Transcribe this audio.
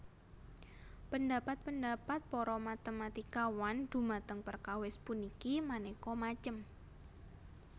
Pendhapat pendhapat para matématikawan dhumateng perkawis puniki manéka macem